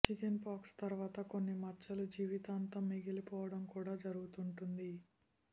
chicken pox తర్వాత కొన్ని మచ్చలు జీవితాంతం మిగిలిపోవడం కూడా జరుగుతుంటుంది